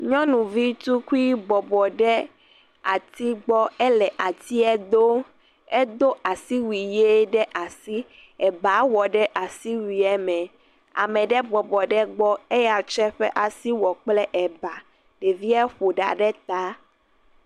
Nyɔnuvi tukui bɔbɔ ɖe atia gbɔ, ele atia do. Edo asiwui ɣi ɖe asi. Eba wɔ ɖe asiwuie me ye ame ɖe bɔbɔ ɖe egbɔ eya kɔ eƒe asiwuie kɔ wɔ eba. Ɖevia ƒo ɖa ɖe ta.